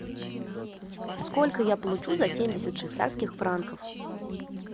сколько я получу за семьдесят швейцарских франков